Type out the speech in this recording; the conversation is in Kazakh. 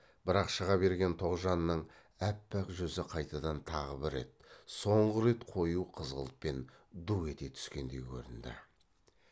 бірақ шыға берген тоғжанның аппақ жүзі қайтадан тағы бір рет соңғы рет қою қызғылтпен ду ете түскендей көрінді